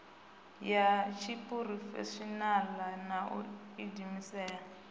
ya tshiphurofeshinala na u diimisela